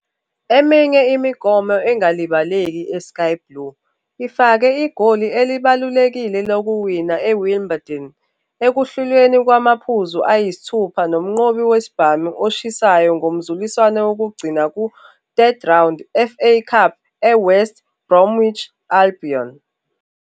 Eminye imigomo engalibaleki eSky Blue ifake igoli elibalulekile lokuwina eWimbledon ekuhlulweni kwamaphuzu ayisithupha nomnqobi wesibhamu oshisayo ngomzuliswano wokugcina ku-3rd Round FA Cup eWest Bromwich Albion.